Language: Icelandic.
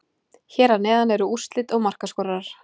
Hér að neðan eru úrslit og markaskorarar.